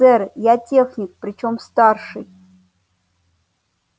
сэр я техник причём старший